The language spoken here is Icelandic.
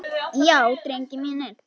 Já drengir mínir.